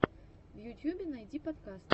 в ютьюбе найди подкасты